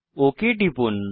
okay টিপুন